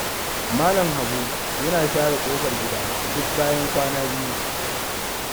Malam Habu yana share ƙofar gida duk bayan kwana biyu.